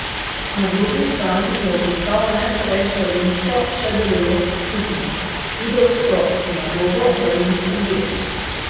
Na drugi strani je obiskal najstarejšo rimsko še delujočo skupnost, judovsko sinagogo v rimskem getu.